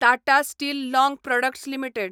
Tata steel long products limited